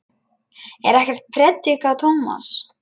Ég er ekkert að predika, Tómas.